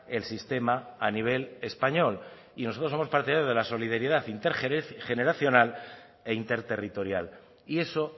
el sistema a nivel español y nosotros somos partidarios de la solidaridad intergeneracional e interterritorial y eso